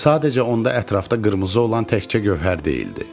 Sadəcə onda ətrafda qırmızı olan təkcə Gövhər deyildi.